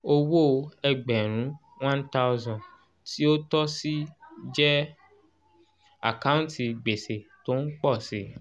owó ẹgbẹ̀rún one thousand tí ó tọ́ sí jẹ àkáǹtì gbèsè tó ń pọ̀ si